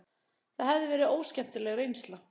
Það hefði verið óskemmtileg reynsla.